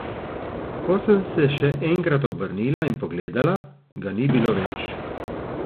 Ko sem se še enkrat obrnila in pogledala, ga ni bilo več.